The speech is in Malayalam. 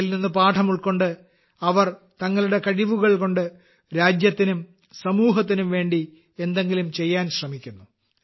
ഇതിൽ നിന്ന് പാഠം ഉൾക്കൊണ്ട് അവർ തങ്ങളുടെ കഴിവുകൾ കൊണ്ട് രാജ്യത്തിനും സമൂഹത്തിനും വേണ്ടി എന്തെങ്കിലും ചെയ്യാൻ ശ്രമിക്കുന്നു